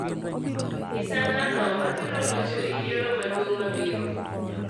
nyisa ng'ano mabiro locho e yiero maduong' mabiro